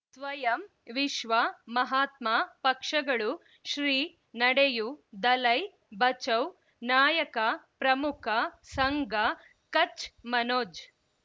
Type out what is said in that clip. ಸ್ವಯಂ ವಿಶ್ವ ಮಹಾತ್ಮ ಪಕ್ಷಗಳು ಶ್ರೀ ನಡೆಯೂ ದಲೈ ಬಚೌ ನಾಯಕ ಪ್ರಮುಖ ಸಂಘ ಕಚ್ ಮನೋಜ್